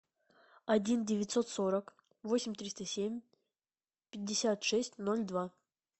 один девятьсот сорок восемь триста семь пятьдесят шесть ноль два